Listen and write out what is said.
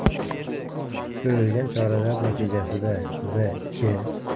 Ko‘rilgan choralar natijasida V.K.